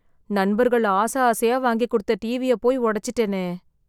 நண்பர்கள் ஆசை ஆசையா வாங்கி கொடுத்த டிவியை போய் உடைச்சிட்டேனே.